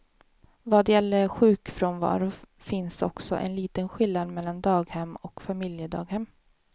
Vad gäller sjukfrånvaro finns också en liten skillnad mellan daghem och familjedaghem.